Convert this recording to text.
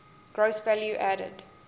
gross value added